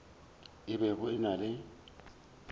a bego a na le